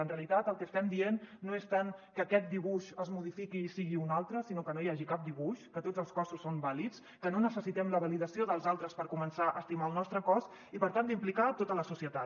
en realitat el que estem dient no és tant que aquest dibuix es modifiqui i en sigui un altre sinó que no hi hagi cap dibuix que tots els cossos són vàlids que no necessitem la validació dels altres per començar a estimar el nostre cos i per tant d’implicar hi tota la societat